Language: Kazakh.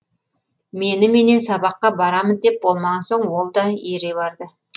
меніменен сабаққа барамын деп болмаған соң ол да ере барды